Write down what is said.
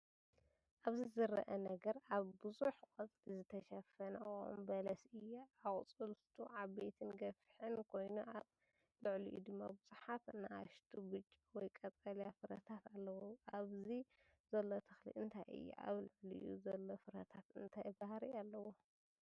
ኣብዚ ዝርአ ነገር ብብዙሕ ቆጽሊ ዝተሸፈነ ኦም በለስ እዩ። ኣቝጽልቱ ዓበይትን ገፊሕን ኮይኑ፡ ኣብ ልዕሊኡ ድማ ብዙሓት ንኣሽቱ ብጫ ወይ ቀጠልያ ፍረታት ኣለዉ። ኣብዚ ዘሎ ተክሊ እንታይ እዩ? ኣብ ልዕሊኡ ዘሎ ፍረታት እንታይ ባህሪ ኣለዎም?